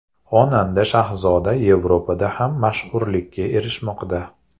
Xonanda Shahzoda Yevropada ham mashhurlikka erishmoqda.